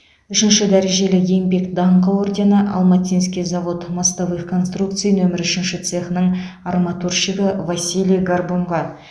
үшінші дәрежелі еңбек даңқы ордені алматинский завод мостовых конструкций нөмірі үшінші цехының арматурщигі василий горбунға